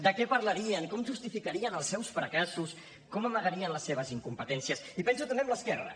de què parlarien com justificarien els seus fracassos com amagarien les seves incompetències i penso també en l’esquerra